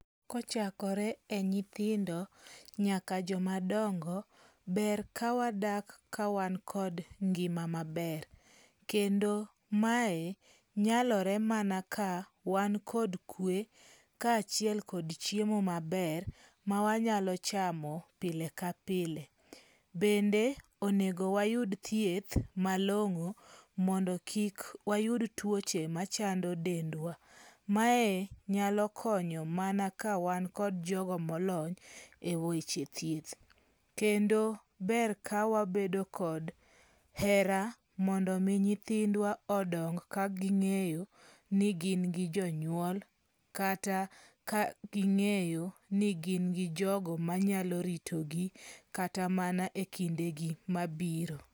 Kochakore e nyithindo nyaka joma dongo, ber kawadak kawan kod ngima maber. Kendo mae nyalore mana ka wan kod kwe kaachiel kod chiemo maber ma wanyalo chamo pile ka pile. Bende onego wayud thieth malong'o mondo kik wayud tuoche machando dendwa. Mae nyalo konyo mana ka wan kod jogo molony e weche thieth. Kendo ber ka wabedo kod hera mondo mi nyithindwa odong ka ging'eyo ni gin gi jonyuol. Kata ka ging'eyo ni gin gi jogo manyalo ritogi kata mana e kinde gi mabiro.